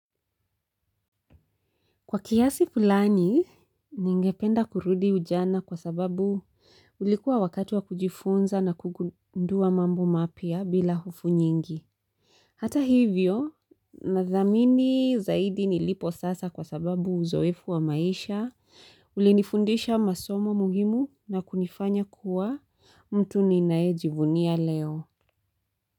Kwa kiasi fulani, ningependa kurudi ujana kwa sababu ulikuwa wakati wa kujifunza na kugundua mambo mapya bila hofu nyingi. Hata hivyo, nathamini zaidi nilipo sasa kwa sababu uzoefu wa maisha, ulinifundisha masomo muhimu na kunifanya kuwa mtu ninaejivunia leo.